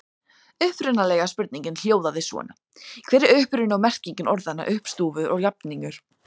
Upprunalega spurningin hljóðaði svona: Hver er uppruni og merking orðanna uppstúfur og jafningur?